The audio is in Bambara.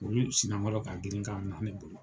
Olu sina kɔrɔ ka girin ka mina ne bolo.